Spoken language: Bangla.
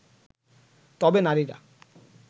তবে নারীরা